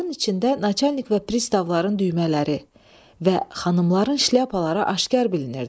Bunların içində načalnik və pristavların düymələri və xanımların şlyapaları aşkar bilinirdi.